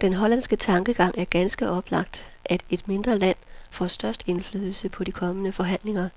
Den hollandske tankegang er ganske oplagt, at et mindre land får størst indflydelse på de kommende forhandlinger,